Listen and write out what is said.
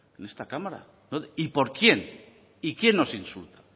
en esta cámara y por quién y quién nos insulta